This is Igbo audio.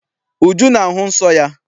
Uju na-ahụ nsọ ya.